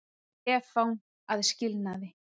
Stefán að skilnaði.